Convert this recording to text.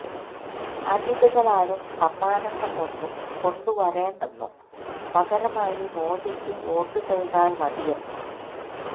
അതിഥികളാരും സമ്മാനങ്ങൾ ഒന്നും കൊണ്ടു വരേണ്ടെന്നും പകരമായി മോദിക്ക് വോട്ടുചെയ്താൽ മതിയെന്നും